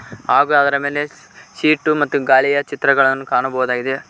ಹಾಗೂ ಅದರ ಮೇಲೆ ಸೀಟು ಮತ್ತು ಗಾಲಿಯ ಚಿತ್ರಗಳನ್ನು ಕಾಣಬಹುದಾಗಿದೆ.